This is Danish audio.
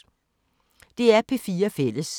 DR P4 Fælles